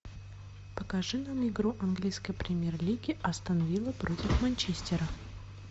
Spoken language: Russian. покажи нам игру английской премьер лиги астон вилла против манчестера